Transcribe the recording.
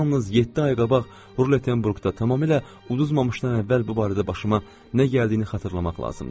Yalnız yeddi ay qabaq Rutenburqda tamamilə udzmamışdan əvvəl bu barədə başıma nə gəldiyini xatırlamaq lazımdır.